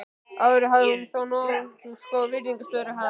Áður hafði hún þó notið góðs af virðingarstöðu hans.